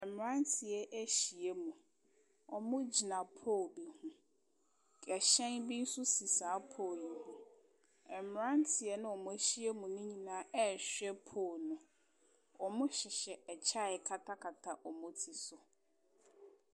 Mmeranteɛ ahyia mu. Wɔgyina pole bi ho. Ɛhyɛn bi nso si sa pole yi ho. Mmeranteɛ no a wɔahyia mu nonyinaa rehwɛ pole no. wɔhyehyɛ ɛkyɛ a ɛkatakata wɔn ti so.